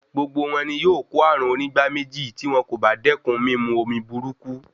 Gbogbo wọn ni yóò kó ààrùn onígbáméjì tí wọn kò bá dékun mímu omi burúkú.